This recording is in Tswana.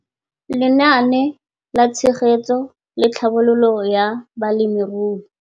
Lenaane la Tshegetso le Tlhabololo ya Balemirui.